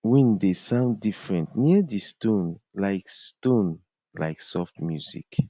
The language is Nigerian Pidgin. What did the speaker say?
wind dey sound different near di stone like stone like soft music